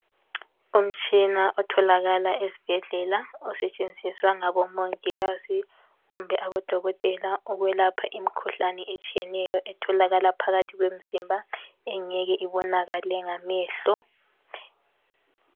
Umtshina otholakala ezibhedlela osetshenziswa ngabo Mongikazi kumbe abo Dokotela ukwelapha imikhuhlane etshiyeneyo etholakala phakathi kwemzimba engeke ibonakale ngamehlo .